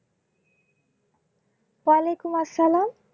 ওয়া আলাইকুম আসসালাম।